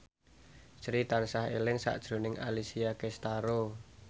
Sri tansah eling sakjroning Alessia Cestaro